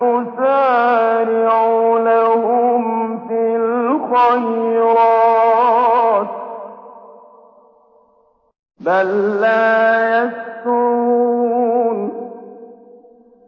نُسَارِعُ لَهُمْ فِي الْخَيْرَاتِ ۚ بَل لَّا يَشْعُرُونَ